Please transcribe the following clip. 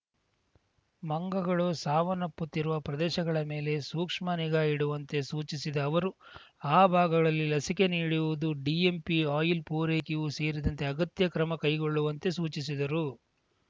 ಮಂಗಗಳು ಸಾವನ್ನಪ್ಪುತ್ತಿರುವ ಪ್ರದೇಶಗಳ ಮೇಲೆ ಸೂಕ್ಷ್ಮ ನಿಗಾ ಇಡುವಂತೆ ಸೂಚಿಸಿದ ಅವರು ಆ ಭಾಗಗಳಲ್ಲಿ ಲಸಿಕೆ ನೀಡುವುದು ಡಿಎಂಪಿ ಆಯಿಲ್‌ ಪೂರೈಕೆಯೂ ಸೇರಿದಂತೆ ಅಗತ್ಯ ಕ್ರಮ ಕೈಗೊಳ್ಳುವಂತೆ ಸೂಚಿಸಿದರು